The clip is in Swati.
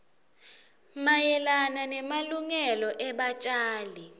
mayelana nemalungelo ebatjali